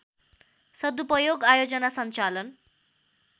सदुपयोग आयोजना सञ्चालन